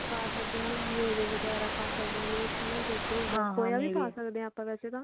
ਪਾ ਸਕਦੇ ਆ ਮੇਵੇ ਵਗੈਰਾ ਪਾ ਸਕਦੇ ਆ ਹਨਾਂ ਦੁੱਧ ਹੋ ਗਿਆ ਹਾਂ ਮੇਵੇ ਖੋਆ ਵੀ ਪਾ ਸਕਦੇ ਆ ਆਪਾ ਵੈਸੇ ਤਾਂ